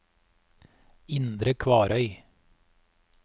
Indre Kvarøy